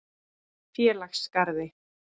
Félagsgarði